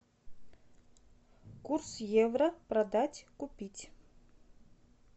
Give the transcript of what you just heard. курс евро продать купить